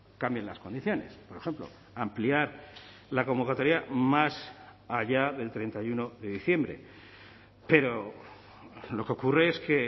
cambien las condiciones por ejemplo ampliar la convocatoria más allá del treinta y uno de diciembre pero lo que ocurre es que